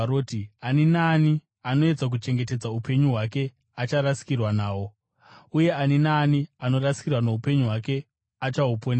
Ani naani anoedza kuchengetedza upenyu hwake acharasikirwa nahwo, uye ani naani anorasikirwa noupenyu hwake achahuponesa.